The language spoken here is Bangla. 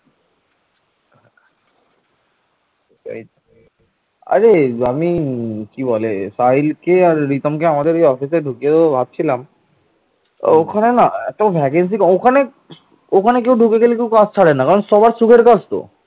মহাপদ্ম নন্দের পর ক্ষমতায় আসীন হন তার পুত্র ধননন্দ বা উগ্রনন্দ